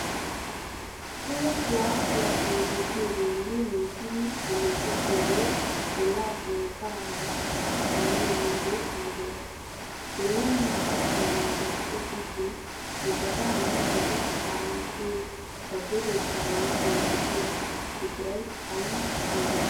Toho kuwaasiya meezetiyogeenne minttidi annaacettiyogee bollaassinne kahaa dichchaassi immiyo maadoy aybee aybee? Bollaanne kahaa maaduwappe gujuwan mishshaaranne dere asaa medhdhiyo dabbotettaa yuushuwan de'iya betray ay malee?